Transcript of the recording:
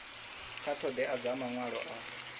kha ṱhoḓea dza maṅwalo a